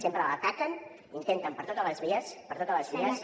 sempre l’ataquen i intenten per totes les vies per totes les vies que